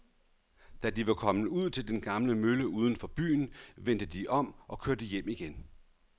Da de var kommet ud til den gamle mølle uden for byen, vendte de om og kørte hjem igen.